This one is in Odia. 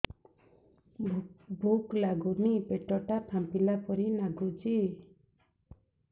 ଭୁକ ଲାଗୁନି ପେଟ ଟା ଫାମ୍ପିଲା ପରି ନାଗୁଚି